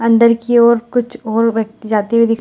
अंदर की ओर कुछ और बच्चे जाते हुए --